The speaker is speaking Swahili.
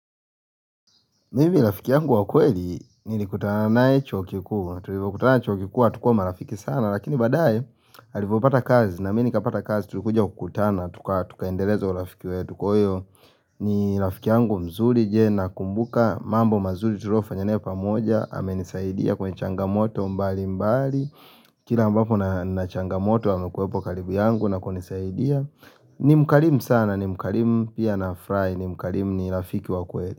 Mimi rafiki yangu wa kweli nilikutana naye chuo kikuu, na tulipokutana chuo kikuu hatukuwa marafiki sana lakini baadae alivyopata kazi na mimi nikapata kazi tulikuja kukutana, tukaendeleza urafiki wetu, kwa hiyo ni rafiki yangu mzuri je na kumbuka mambo mazuri tuliofanya naye pamoja, amenisaidia kwenye changamoto mbali mbali Kila ambapo nina changamoto amekuwepo karibu yangu na kunisaidia ni mkarimu sana ni mkarimu pia nafurahi ni mkarimu ni rafiki wa kweli.